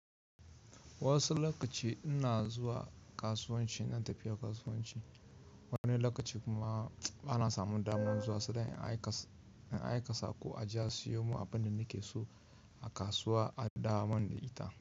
Wasu lokaci ina zuwa kasuwanci ina tafiya kasuwanci, wani lokaci kuma bana samun dama zuwa, sai in aika sa ko a je a siyo mun abin da nake so a kasuwa a dawo mun da ita.